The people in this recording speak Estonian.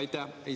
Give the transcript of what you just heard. Aitäh!